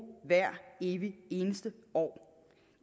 hvert evig eneste år